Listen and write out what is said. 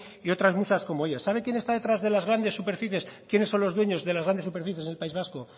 y otras muchas como ellas sabe quién está detrás de las grandes superficies quiénes son los dueños de las grandes superficies en el país vasco